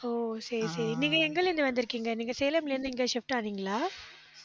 ஓ சரி, சரி. நீங்க எங்கலிருந்து வந்திருக்கீங்க நீங்க சேலம்ல இருந்து இங்க shift ஆனீங்களா